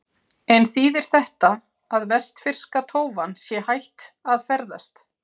En þýðir þetta að vestfirska tófan sé hætt að ferðast?